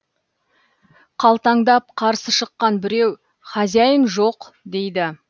қалтаңдап қарсы шыққан біреу хозяйн жоқ дейді